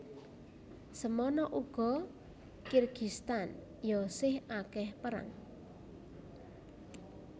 Semono ugo Kirgistan yo sih akeh perang